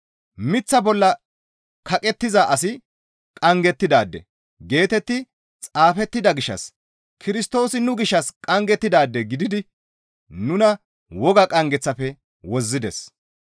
«Miththa bolla kaqettiza asi qanggettidaade» geetetti xaafettida gishshas Kirstoosi nu gishshas qanggettidaade gididi nuna woga qanggeththafe wozzides.